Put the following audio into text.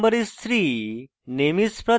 roll no is: 3 name is: pratham